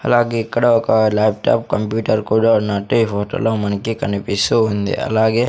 అలాగే ఇక్కడ ఒక లాప్టాప్ కంప్యూటర్ కూడా ఉన్నట్టే ఈ ఫోటోలో మనకి కనిపిస్తూ ఉంది అలాగే--